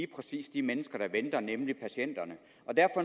præcis de mennesker der ventede nemlig patienterne